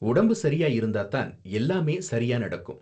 உடம்பு சரியா இருந்தா தான் எல்லாமே சரியா நடக்கும்